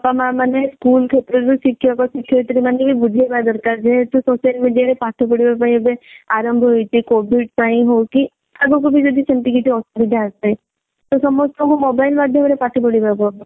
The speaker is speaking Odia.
ବାପା ମା ମାନେ school କ୍ଷେତ୍ର ରେ ଶିକ୍ଷକ ଶିକ୍ଷ୍ୟୟତ୍ରୀ ମାନେ ବି ବୁଝେଇବା ଦରକାର କି ଯେହେତୁ ଏବେ social media ରେ ପାଠ ପଢିବା ପାଇଁ ଆରମ୍ଭ ହୋଇଛି COVID ପାଇଁ ହଉ କି ଆଗକୁ ବି ଯଦି ସେମିତି କିଛି ଅସୁବିଧା ଆସେ ତ ସମସ୍ତଙ୍କୁ mobile ମାଧ୍ୟମ ରେ ପାଠ ପଢିବାକୁ ହବ